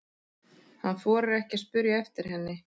Hann þorir ekki að spyrja eftir henni.